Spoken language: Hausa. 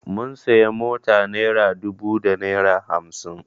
Mun sayi mota naira dubu da naira hamsin